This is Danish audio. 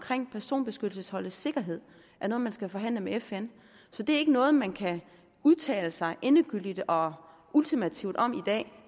personbeskyttelsesholdets sikkerhed er noget man skal forhandle med fn så det er ikke noget man kan udtale sig endegyldigt og ultimativt om i dag